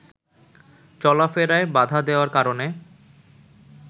চলাফেরায় বাধা দেওয়ার কারণে